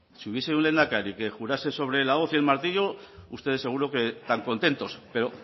si hubiese un lehendakari que jurase sobre la hoz y el martillo ustedes seguro que tan contentos pero